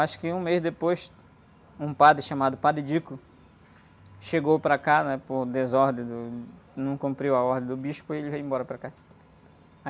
Acho que um mês depois, um padre chamado padre, chegou para cá, né? Por desordem, num, não cumpriu a ordem do bispo e ele veio embora para cá.